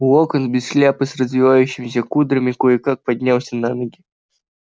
локонс без шляпы с развившимися кудрями кое-как поднялся на ноги